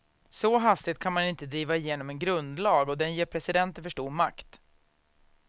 Så hastigt kan man inte driva igenom en grundlag och den ger presidenten för stor makt.